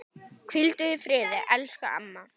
Hvíldu í friði, elsku amma.